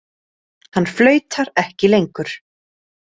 Hann flautar ekki lengur.